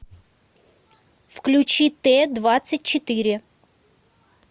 включи т двадцать четыре